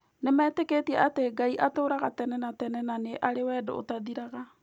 Nĩmetĩkĩtie atĩ Ngai atũũraga tene na tene na arĩ wendo ũtathiraga.